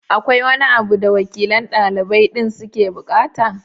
Akwai wani abu da wakilan ɗalibai din suke buƙata?